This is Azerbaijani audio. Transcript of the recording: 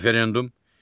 Referendum.